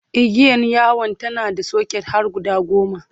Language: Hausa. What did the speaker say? igiyar yawon tana da socket har guda goma